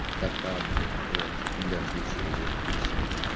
кота блять вот типо для различения вот и все